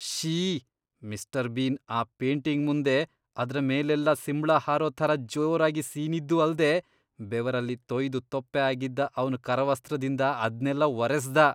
ಶ್ಶೀ.. mister bean ಆ painting ಮುಂದೆ ಅದ್ರ ಮೇಲೆಲ್ಲ ಸಿಂಬ್ಳ ಹಾರೋ ಥರ ಜೋರಾಗಿ ಸೀನಿದ್ದೂ ಅಲ್ದೇ ಬೆವರಲ್ಲಿ ತೊಯ್ದು ತೊಪ್ಪೆ ಆಗಿದ್ದ ಅವ್ನ್ ಕರವಸ್ತ್ರದಿಂದ ಅದ್ನೆಲ್ಲ ಒರೆಸ್ದ.